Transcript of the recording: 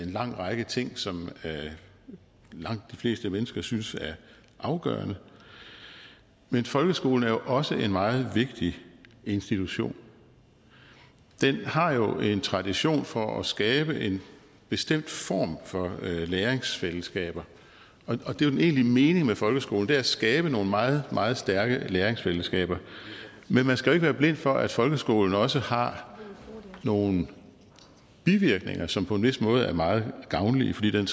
lang række ting som langt de fleste mennesker synes er afgørende men folkeskolen er jo også en meget vigtig institution den har jo en tradition for at skabe en bestemt form for læreringsfællesskaber og den egentlige mening med folkeskolen er jo at skabe nogle meget meget stærke læringsfællesskaber men man skal ikke være blind for at folkeskolen også har nogle bivirkninger som på en vis måde er meget gavnlige fordi den